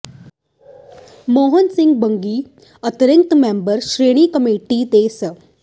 ਮੋਹਨ ਸਿੰਘ ਬੰਗੀ ਅੰਤ੍ਰਿੰਗ member Shiromani committee ਤੇ ਸ